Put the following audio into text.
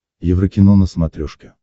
еврокино на смотрешке